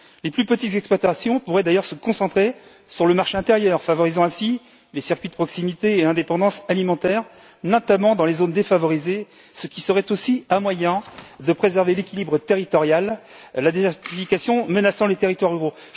Les plus petites exploitations pourraient d'ailleurs se concentrer sur le marché intérieur, favorisant ainsi les circuits de proximité et l'indépendance alimentaire, notamment dans les zones défavorisées, ce qui serait aussi un moyen de préserver l'équilibre territorial, car la désertification menace les territoires ruraux.